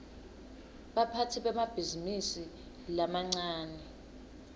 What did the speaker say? baphatsi bemabhizinisi lamancane